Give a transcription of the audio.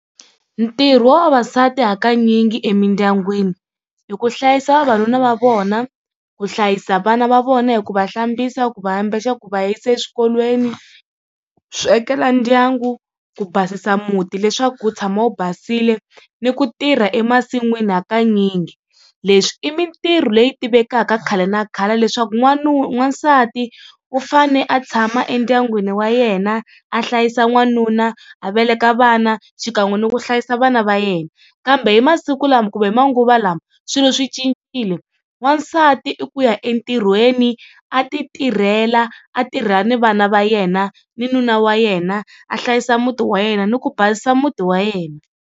Ntirho wa vavasati hakanyingi emindyangwini hi ku hlayisa vavanuna va vona, ku hlayisa vana va vona hi ku va hlambisa ku va ambexa, ku va yisa eswikolweni swekela ndyangu, ku basisa muti leswaku u tshama u basile ni ku tirha emasin'wini hakanyingi. Leswi i mintirho leyi tivekaka khale na khale leswaku n'wansati u fane a tshama endyangwini wa yena a hlayisa n'wanuna a veleka vana xikan'we ni ku hlayisa vana va yena. Kambe hi masiku lama kumbe hi manguva lawa swilo swi cincile wansati i ku ya entirhweni a ti tirhela a tirha ni vana va yena ni nuna wa yena a hlayisa muti wa yena ni ku basisa muti wa yena.